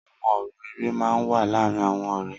Awọn ọrọ èrè mà n wà làárin awọn ọrẹ